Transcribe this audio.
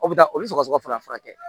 O bɛ taa o bɛ sɔgɔsɔgɔ fana furakɛ